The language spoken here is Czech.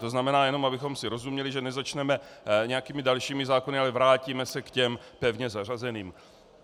To znamená, jenom abychom si rozuměli, že nezačneme nějakými dalšími zákony, ale vrátíme se k těm pevně zařazeným.